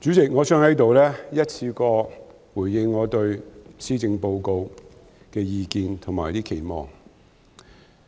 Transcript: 主席，我想在此一次過回應我對施政報告的意見和期望。